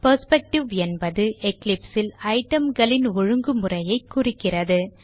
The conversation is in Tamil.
பெர்ஸ்பெக்டிவ் என்பது Eclipse ல் itemகளின் ஒழுங்குமுறையைக் குறிக்கிறது